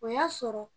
O y'a sɔrɔ